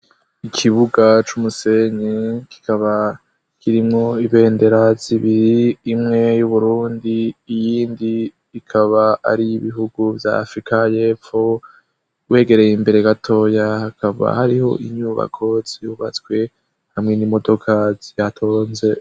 Ikibuga c'umusenyi kikaba kirimwo ibendera zibiri, imwe y'Uburundi, iyindi ikaba ari iy' ibihugu vya Afirika y'Epfo. Wegereye imbere gatoya hakaba hariho inyubako zubatswe hamwe n'imodoka zihatonze.